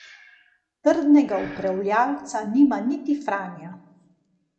Trdnega upravljavca nima niti Franja.